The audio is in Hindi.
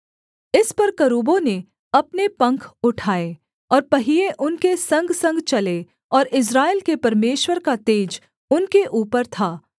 इस पर करूबों ने अपने पंख उठाए और पहिये उनके संगसंग चले और इस्राएल के परमेश्वर का तेज उनके ऊपर था